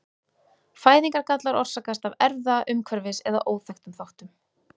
Fæðingargallar orsakast af erfða-, umhverfis- eða óþekktum þáttum.